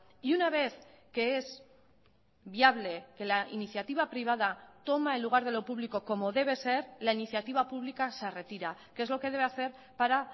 y una vez que es viable que la iniciativa privada toma el lugar de lo público como debe ser la iniciativa pública se retira que es lo que debe hacer para